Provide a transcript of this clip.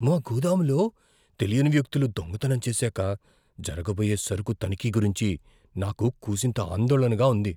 మా గోదాములో తెలియని వ్యక్తులు దొంగతనం చేశాకా జరగబోయే సరుకు తనిఖీ గురించి నాకు కూసింత ఆందోళనగా ఉంది.